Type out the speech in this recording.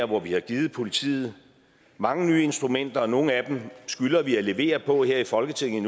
hvor vi har givet politiet mange nye instrumenter og nogle af dem skylder vi endnu at levere på her i folketinget